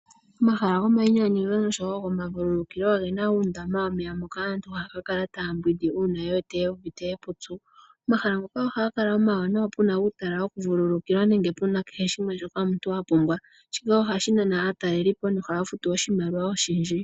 Omahala gomainyanyudho noshowo gomavululukilo ogena uundama hoka aantu haya ka kala taya mbwindi uuna yewete yuuvite epupyu. Omahala ngoka ohaga kala omawanawa puna uutala wokuvululukila nenge puna shoka kehe shimwe pumbwa. Shika ohashi nana aatalelipo nohaya futu oshimaliwa oshindji.